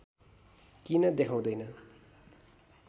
किन देखाउँदैन